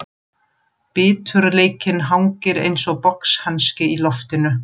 Biturleikinn hangir einsog boxhanski í loftinu.